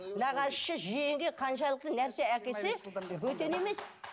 нағашысы жиенге қаншалықты нәрсе әкелсе бөтен емес